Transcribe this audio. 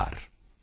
ਨਮਸਕਾਰ